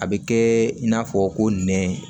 A bɛ kɛ i n'a fɔ ko nɛn